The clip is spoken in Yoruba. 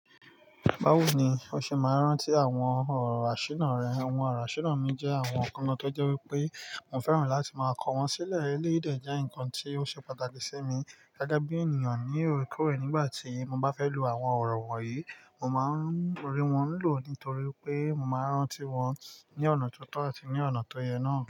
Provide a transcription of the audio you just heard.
Báwo ni o ṣe máa ń rántí àwọn ọ̀rọ̀ asina rẹ? Àwọn ọ̀rọ̀ asina mi jẹ́ àwọn ǹkan náà tó jẹ́ wípé mo fẹ́ràn láti máa kọ wọ́n sílẹ̀. Eléyìí dé jẹ́ nǹkan tí ó ṣe pàtàkì sí mi gẹ́gẹ́ bí ènìyàn ní ọ̀rẹ́ kórè nígbà tí mo bá fẹ́ lo àwọn ọ̀rọ̀ wọ̀nyí, mo máa ń rí wọn lò nítorí pé mo máa ń rántí wọn ní ọ̀nà tó tọ́ àti ní ọ̀nà tó yẹ náà.